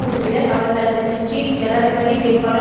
உறுப்பினர் அவர் தனது கட்சியில் ஜனாதிபதி வேட்பாளர்